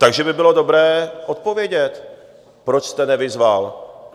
Takže by bylo dobré odpovědět, proč jste nevyzval.